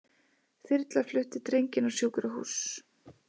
Þyrla flutti drenginn á sjúkrahús